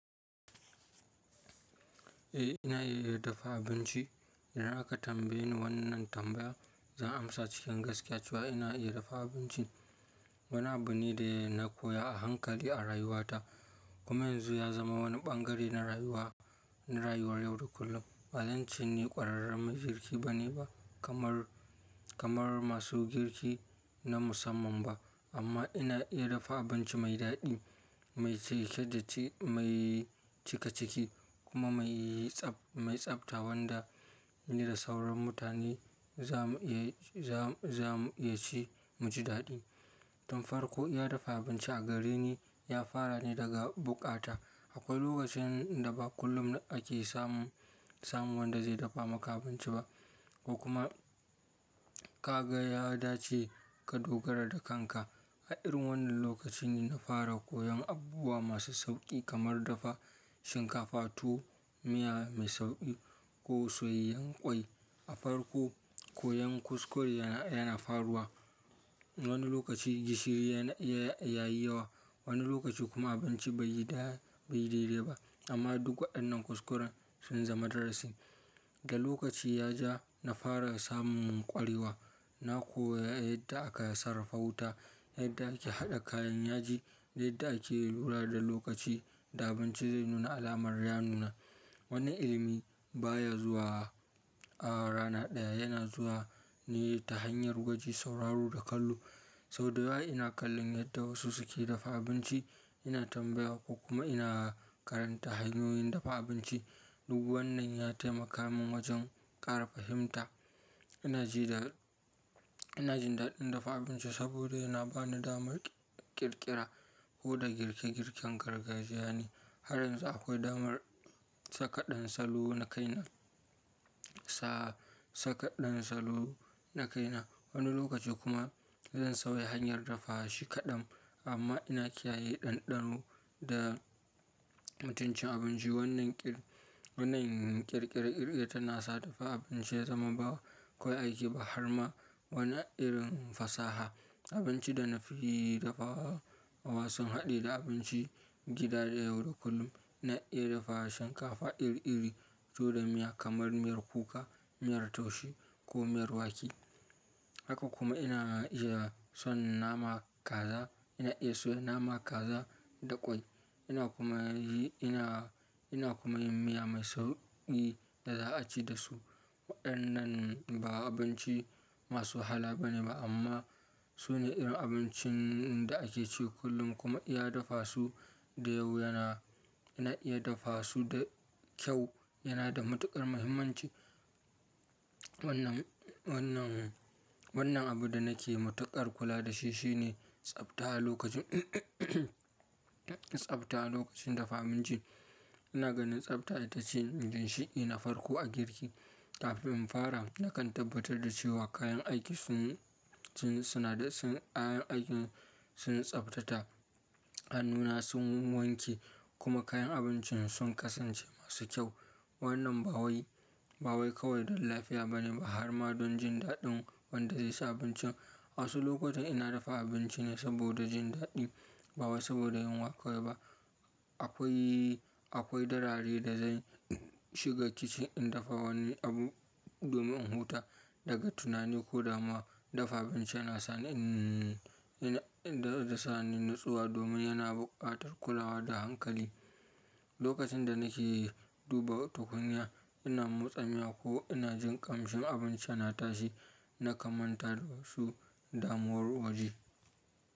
Eh ina iya dafa abinci. Idan aka tambaye ni wannan tambaya zan amsa cikin gaskiya cewa eh na iya dafa abinci. Wani abu ne da na koya a hankali a rayuwata kuma yanzu ya zama wani bangare na rayuwa, na rayuwar yau da kullum. Ba zan ce ni ƙwararren majirgi bane ba kamar, kamar masu girki na musamman ba amma ina iya dafa abinci mai daɗi, mai cike da ci-- mai cikaciki kuma mai tsab-- mai tsabta wanda ni da sauran mutane za mu iya ci, mu ji daɗi. Tun farko iya dafa abinci a gareni ya fara ne daga bukata. Akwai lokacin da ba kullum ake samun, samun wanda zai dafa maka abinci ba ko kuma ka ga ya dace ka dogara da kanka. A irin wannan lokacin ne na fara koyan abubuwa masu sauƙi kamar dafa shinkafa, tuwo, miya mai sauƙi ko soyayyen ƙwai. A farko koyan kuskure yana, yana faruwa. Wani lokaci gishiri, ya yi yawa, wani lokaci kuma abinci bai yi bai daidai ba amma duk waɗannan kuskuren sun zama darasin. Da lokaci ya ja na fara samun ƙwarewa. Na koyi yadda aka sarrafa wuta, yadda ake haɗa kayan yaji da yadda ake lura da lokaci da abinci zai nuna alamar ya nuna. Wani ilimi baya zuwa a rana ɗaya, yana zuwa ne ta hanyar gwaji, sauraro da kallo. Sau da yawa ina kallon yadda wasu suke dafa abinci, ina tambaya ko kuma ina karanta hanyoyin dafa abinci. Duk wannan ya taimaka min wajen ƙara fahimta. Ina ji da, ina jin daɗin dafa abinci saboda yana bani damar ƙirƙira. Koɗa girke girken gargajiya ne har yanzu akwai damar saka ɗan salo na kaina, sa, saka ɗan salo na kaina. Wani lokaci kuma zan sauya hanyar dafa shi kaɗan amma ina kiyaye ɗanɗano da mutuncin abinci. Wannan ƙir, wannan ƙirƙire kirkire tana sa dafa abinci ya zama ba kawai aiki ba har ma wani irin fasaha. Abinci da na fi dafa wa, wa sun haɗe da abinci gida da yau da kullum. Na iya dafa shinkafa iri iri, tuwo da miya kamar miyar kuka, miyar taushe ko miyar wake. Haka kuma ina iya soya naman kaza, ina iya soya nama kaza da ƙwai. Ina kuma yi, ina, ina kuma yin miya mai sauƙi da za a ci da su. Waɗannan ba abinci masu hala bane ba amma su ne irin abincin da ake ci kullum kuma iya dafa su da yau yana, na iya dafa su da kyau yana da matuƙar muhimmanci. Wannan abin da nake matuƙar kula da shi shine tsabta a lokacin tsabta lokacin dafa abinci. Ina ganin tsabta ita ce ginshiki na farko a girki. Wannan ƙir, wannan ƙirƙirar kirkiya tana sa dafa abinci ya zama ba koyaushe aiki ba har ma wani irin fasaha. Kafin in fara na kan tabbatar da cewa kayan aiki sun, suna da sun, kayan aikin sun tsabta, hannuna sun wanke kuma kayan abincin sun kasance masu kyau. Wannan ƙir, wannan ƙirƙirar kirkiya tana sa dafa abinci ya zama ba koyaushe aiki ba har ma wani irin fasaha. Akwai, akwai darari da zai shiga kicin in dafa wani abu domin huta daga tunani ko dama dafa abinci yana sa ni, yana, yana sa ni natsuwa domin yana buƙatar kulawa da hankali. Lokacin da nake duba tukunya ina motsa miya ko ina jin ƙamshin abinci yana tashi.